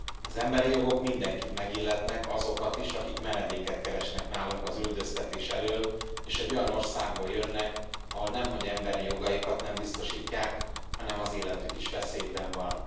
Az emberi jogok mindenkit megilletnek, azokat is, akik menedéket keresnek nálunk az üldöztetés elől, és egy olyan országból jönnek, ahol nemhogy emberi jogaikat nem biztosítják, hanem az életük is veszélyben van.